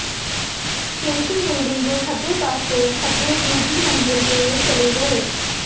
station building ਦੇ ਖੱਬੇ ਪਾਸੇ ਖੱਬੇ ਦੂਜੀ ਮੰਜ਼ਿਲ ਤੇ ਚਲੇ ਗਏ